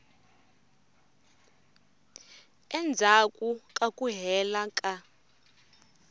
endzhaku ka ku hela ka